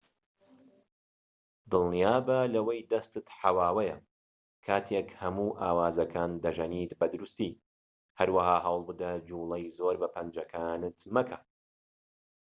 دڵنیابە لەوەی دەستت حەواوەیە کاتێك هەموو ئاوازەکان دەژەنیت بە دروستی هەروەها هەوڵبدە جوڵەی زۆر بە پەنجەکانت مەکە